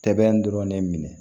Sɛbɛn dɔrɔn ne minɛ